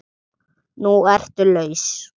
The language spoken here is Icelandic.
Núna ertu laus.